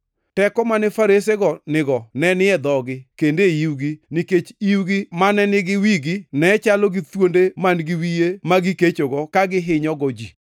Teko mane faresego nigo ne ni e dhogi kendo e iwgi nikech iwgi mane nigi wigi ne chalo gi thuonde man-gi wiye ma gikechogo ka gihinyogo ji.